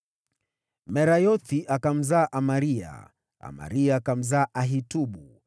Merayothi akamzaa Amaria, Amaria akamzaa Ahitubu,